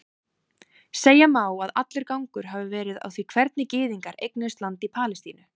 Segja má að allur gangur hafi verið á því hvernig gyðingar eignuðust land í Palestínu.